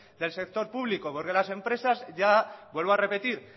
del sector público porque las empresas ya vuelvo a repetir